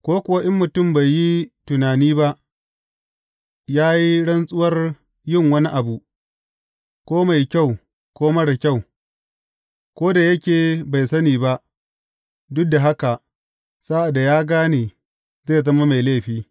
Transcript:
Ko kuwa in mutum bai yi tunani ba, ya yi rantsuwar yin wani abu, ko mai kyau ko marar kyau; ko da yake bai sani ba, duk da haka sa’ad da ya gane zai zama mai laifi.